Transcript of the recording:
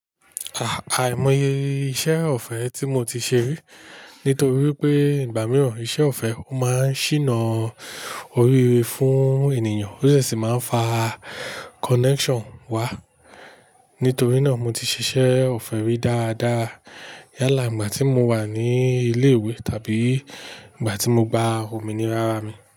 À-àìmọye iṣẹ́ ọ̀fẹ́ tí mo ti ṣe rí, nítorí pé ìgbà mìíràn iṣẹ́ ọ̀fẹ́ ó máa ń ṣìnà oríire fún ènìyàn ó dẹ̀ sì máa ń fa connection wá. Nítorí náà mo ti ṣiṣẹ́ ọ̀fẹ́ rí dáadáa. Yálà ìgbà tí mo wà ní ilé ìwé tàbí ìgbà tí mo gba òmìnira ara mi.